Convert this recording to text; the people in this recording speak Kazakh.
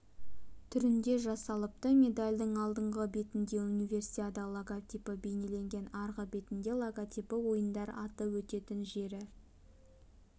түрінде жасалыпты медальдың алдыңғы бетінде универсиада логотипі бейнеленген арғы бетінде логотипі ойындар аты өтетін жері